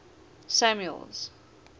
samuel's